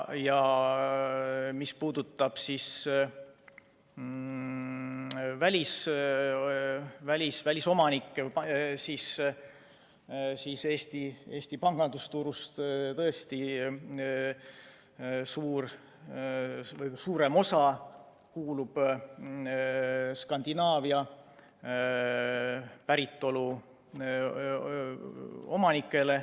Mis puudutab välisomanikke, siis Eesti pangandusturust tõesti suurem osa kuulub Skandinaavia päritolu omanikele.